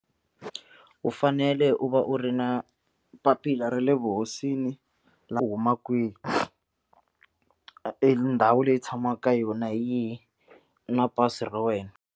U fanele u va u ri na papila ra le vuhosini u huma kwihi endhawu leyi tshamaka ka yona hi yihi na pasi ra wena.